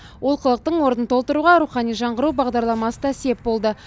олқылықтың орнын толтыруға рухани жаңғыру бағдарламасы да сеп болды